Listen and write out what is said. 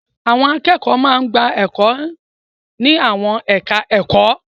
Àwọn akẹ́kọ̀ọ́ máa ń gba ẹ̀kọ́ ní àwọn ẹ̀ka-ẹ̀kọ́.